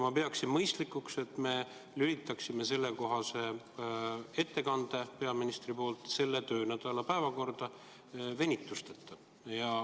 Ma pean mõistlikuks, et me lülitame peaministri sellekohase ettekande selle töönädala päevakorda venituseta.